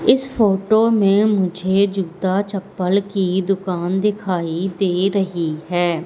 इस फोटो में मुझे जूता चप्पल की दुकान दिखाई दे रही है।